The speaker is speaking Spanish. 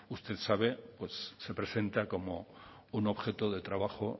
usted sabe pues se presenta como un objeto de trabajo